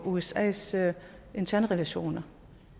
usas interne relationer